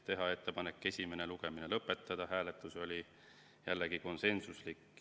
Tehti ettepanek esimene lugemine lõpetada, hääletus oli jällegi konsensuslik.